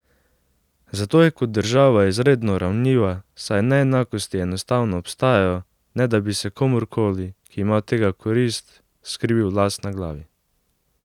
Zato je kot država izredno ranljiva, saj neenakosti enostavno obstajajo, ne da bi se komurkoli, ki ima od tega korist, skrivil las na glavi.